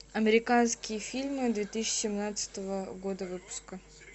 американские фильмы две тысячи семнадцатого года выпуска